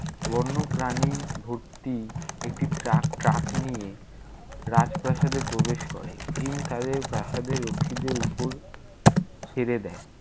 বন্যপ্রাণি ভর্তি একটি truck truck নিয়ে রাজপ্রাসাদে প্রবেশ করে। ভীম তাদের প্রাসাদের রক্ষীদের উপর, ছেড়ে দেয়।